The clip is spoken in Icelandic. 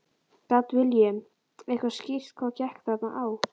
Gat Willum eitthvað skýrt hvað gekk þarna á?